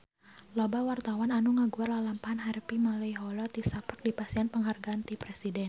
Loba wartawan anu ngaguar lalampahan Harvey Malaiholo tisaprak dipasihan panghargaan ti Presiden